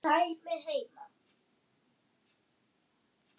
Þannig var afi, alltaf að.